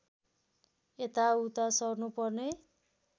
यताउता सर्नुपर्ने